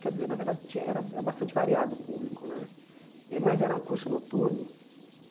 Quer dizer, na verdade, tin era eh é bastante variado o público né eh, mas era um curso noturno.